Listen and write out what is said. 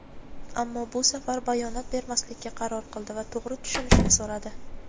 Ammo bu safar bayonot bermaslikka qaror qildi va to‘g‘ri tushunishni so‘radi.